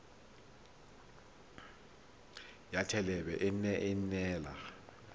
ya thelebi ene e neela